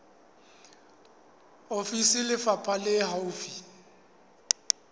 ofisi ya lefapha le haufi